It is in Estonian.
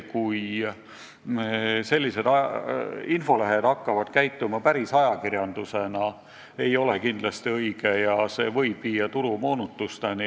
Kui sellised infolehed hakkavad käituma päris ajakirjandusena, siis võib see viia turumoonutusteni.